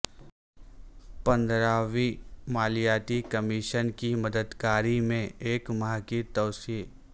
پندرہویں مالیاتی کمیشن کی مدت کار میں ایک ماہ کی توسیع